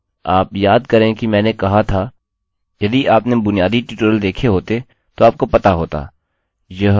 अब याद करें कि मैंने कहा था यदि आपने बुनियादी ट्यूटोरियल देखे होते तो आपको पता होता